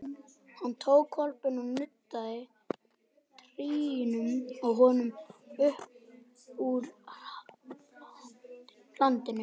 Hann tók hvolpinn og nuddaði trýninu á honum uppúr hlandinu.